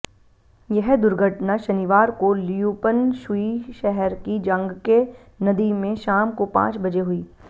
यह दुर्घटना शनिवार को लियुपनशुई शहर की जांग्के नदी में शाम को पांच बजे हुई